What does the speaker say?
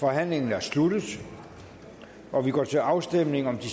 forhandlingen er sluttet og vi går til afstemning om de